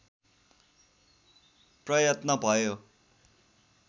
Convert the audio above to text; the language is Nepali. प्रयत्न भयो